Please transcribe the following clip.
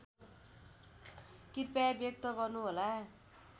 कृपया व्यक्त गर्नुहोला